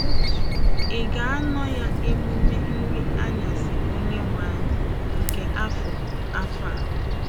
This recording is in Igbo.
Ị̀ ga-anọ ya emume Nri Anyasị Onyenwe Anyị nke afọ afọ a?